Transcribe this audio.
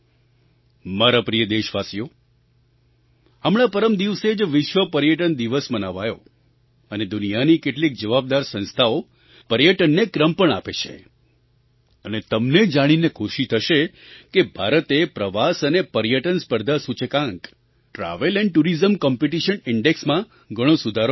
મારા પ્રિય દેશવાસીઓ હમણાં પરમ દિવસે જ વિશ્વ પર્યટન દિવસ મનાવાયો અને દુનિયાની કેટલીક જવાબદાર સંસ્થાઓ પર્યટનને ક્રમ પણ આપે છે અને તમને જાણીને ખુશી થશે કે ભારતે પ્રવાસ અને પર્યટન સ્પર્ધા સૂચકાંક ટ્રાવેલ એન્ડ ટુરિઝમ કોમ્પિટિશન indexમાં ઘણો સુધાર કર્યો છે